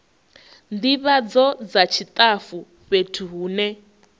ndivhadzo dza tshitafu fhethu hune